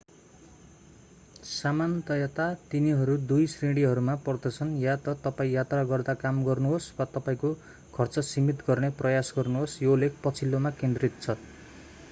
सामान्यतया तिनीहरू दुई श्रेणीहरूमा पर्दछन्ः या त तपाईं यात्रा गर्दा काम गर्नुहोस् वा तपाईंको खर्च सीमित गर्ने प्रयास गर्नुहोस् यो लेख पछिल्लोमा केन्द्रित छ